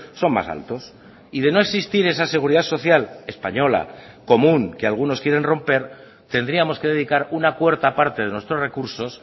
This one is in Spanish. son más altos y de no existir esa seguridad social española común que algunos quieren romper tendríamos que dedicar una cuarta parte de nuestros recursos